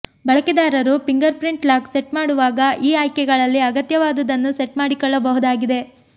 ಬಳಕೆದಾರರು fingerprint lock set ಮಾಡುವಾಗ ಈ ಆಯ್ಕೆಗಳಲ್ಲಿ ಅಗತ್ಯವಾದುದನ್ನು ಸೆಟ್ ಮಾಡಿಕೊಳ್ಳಬಹುದಾಗಿದೆ